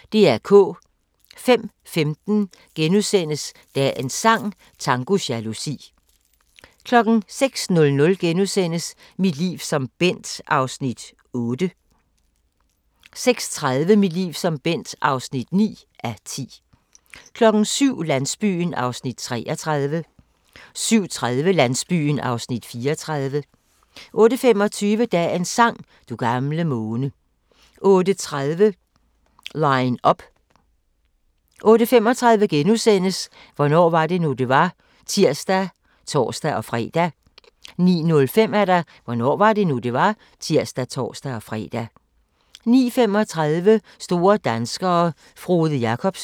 05:15: Dagens sang: Tango jalousi * 06:00: Mit liv som Bent (8:10)* 06:30: Mit liv som Bent (9:10) 07:00: Landsbyen (33:44) 07:30: Landsbyen (34:44) 08:25: Dagens sang: Du gamle måne 08:30: Line up 08:35: Hvornår var det nu, det var? *(tir og tor-fre) 09:05: Hvornår var det nu, det var? (tir og tor-fre) 09:35: Store danskere - Frode Jakobsen